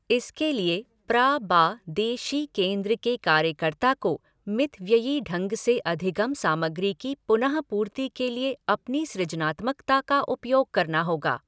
इसके लिए प्रा बा दे शि केंद्र के कार्यकर्त्ता को मितव्ययी ढंग से अधिगम सामग्री की पुनः पूर्ति के लिए अपनी सृजनात्मकता का उपयोग करना होगा।